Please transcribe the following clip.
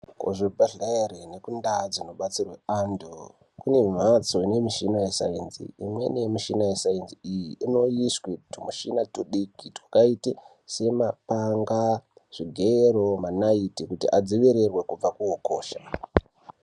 Kuzvibhedhlere nekundaa dzinobatsirwa antu kune mhatso ine mishina yesaenzi. Imweni yemishina yesaenzi iyi inoiswe tumushina tudiki twakaite semapanga, zvigero nenaiti kuti adzivirirwe kubva kuhukosha.